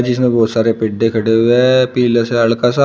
इसमें बहुत सारे पिड्डे खड़े हुए हैं पीले से हड़का सा--